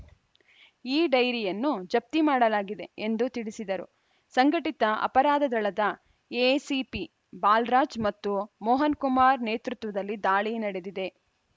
ಆ ಡೈರಿಯನ್ನು ಜಪ್ತಿ ಮಾಡಲಾಗಿದೆ ಎಂದು ತಿಳಿಸಿದರು ಸಂಘಟಿತ ಅಪರಾಧ ದಳದ ಎಸಿಪಿ ಬಾಲರಾಜ್‌ ಮತ್ತು ಮೋಹನ್‌ಕುಮಾರ್‌ ನೇತೃತ್ವದಲ್ಲಿ ದಾಳಿ ನಡೆದಿದೆ